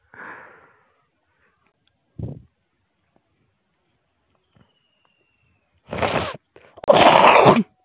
হুম